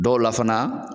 Dɔw la fana